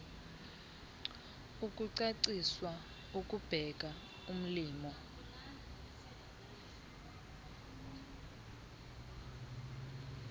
ukucaciswa ukubeka ulimo